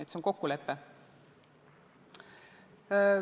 See on kokkulepe.